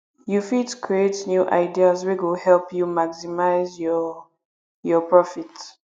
you fit create new ideas wey go help you maximize your your profit